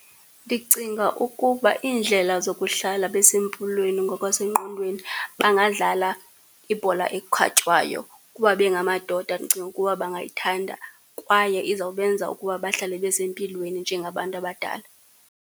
Ndicinga ukuba iindlela zokuhlala besempilweni ngokwasengqondweni bangadlala ibhola ekhatywayo. Kuba bengamadoda ndicinga ukuba bangayithanda, kwaye izawubenza ukuba bahlale besempilweni njengabantu abadala.